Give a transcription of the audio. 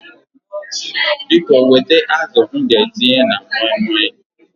Biko wete azụ m ga-etinye na moi moi